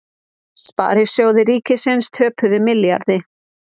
Sparisjóðir ríkisins töpuðu milljarði